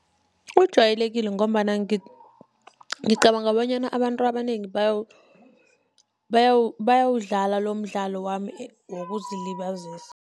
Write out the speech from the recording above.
Ujayelekile ngombana ngicabanga bonyana abantu abanengi bayawudlala lomdlalo wami wokuzilibazisa.